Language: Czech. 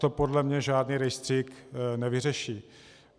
To podle mě žádný rejstřík nevyřeší.